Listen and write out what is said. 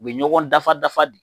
U bɛ ɲɔgɔn dafa dafa de